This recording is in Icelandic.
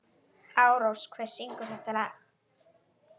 Ásrós, hver syngur þetta lag?